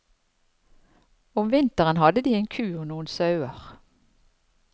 Om vinteren hadde de en ku og noen sauer.